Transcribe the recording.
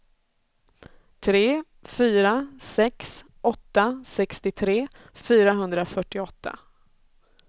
tre fyra sex åtta sextiotre fyrahundrafyrtioåtta